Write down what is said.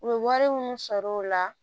U bɛ wari minnu sɔrɔ o la